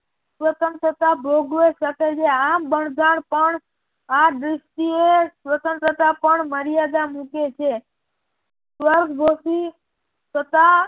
સ્વતંત્રતા ભોગવી શકે છે આમ બંજાર પણ આ દર્ષ્ટિએ સ્વતંત્રતા પણ મર્યાદા મૂકે છે